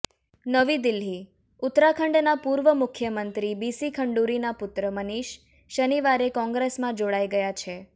નવી દિલ્હીઃ ઉત્તરાખંડનાં પૂર્વ મુખ્યમંત્રી બીસી ખંડૂરીના પુત્ર મનીષ શનિવારે કોંગ્રેસમાં જોડાઈ ગયા છે